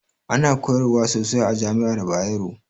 Ana koyarwa sosai a jami'ar Bayero